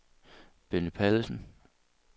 Benny Pallesen